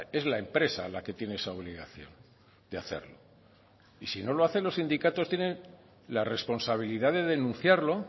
es la empresa la que tiene esa obligación de hacerlo y si no lo hacen los sindicatos tienen la responsabilidad de denunciarlo